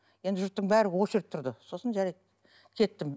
енді жұрттың бәрі очередь тұрды сосын жарайды кеттім